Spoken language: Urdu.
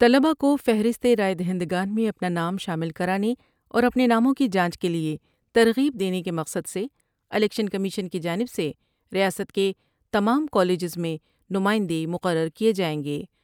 طلباء کوفہرست راۓ دہندگان میں اپنا نام شامل کرانے اور اپنے ناموں کی جانچ کیلئے ترغیب دینے کے مقصد سے الیکشن کمیشن کی جانب سے ریاست کے تمام کالجس میں نمائندے مقرر کئے جائیں گے ۔